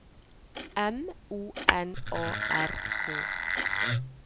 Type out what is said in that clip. M O N A R K